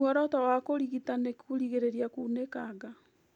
Muoroto wa kũrigita nĩ kũrigĩrĩria kunĩkanga